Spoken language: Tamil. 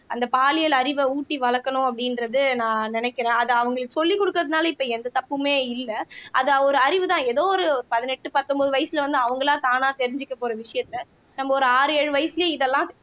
அந்த பாலியல் அறிவை ஊட்டி வளர்க்கணும் அப்படின்றது நான் நினைக்கிறேன் அது அவங்களுக்கு சொல்லிக் கொடுக்கிறதுனால இப்ப எந்த தப்புமே இல்லை அது ஒரு அறிவுதான் ஏதோ ஒரு பதினெட்டு பத்தொன்பது வயசுல வந்து அவங்களா தானா தெரிஞ்சுக்க போற விஷயத்த நம்ம ஒரு ஆறு ஏழு வயசுலயே இதெல்லாம்